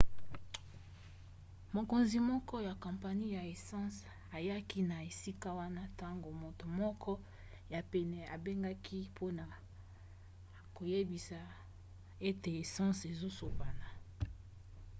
mokonzi moko ya kompani ya essence ayaki na esika wana ntango moto moko ya pene abengaki mpona koyebisa ete essence ezosopana